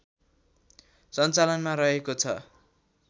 सञ्चालनमा रहेको छ